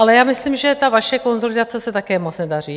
Ale já myslím, že ta vaše konsolidace se také moc nedaří.